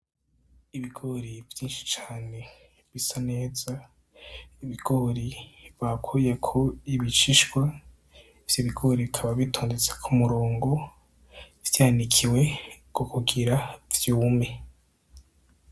Ibigori vyishi cane bisa neza ibigori bakuyeko ibishishwa ivyo ibigori bikaba bitondetse ku murongo vyanikiwe ku kugira vyume.